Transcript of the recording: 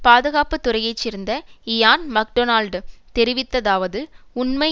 பாதுகாப்பு துறையை சேர்ந்த இயான் மக்டொனால்ட் தெரிவித்ததாவது உண்மை